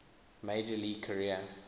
major league career